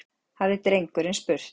hafði drengurinn spurt.